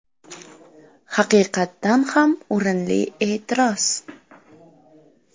Haqiqatdan ham o‘rinli e’tiroz.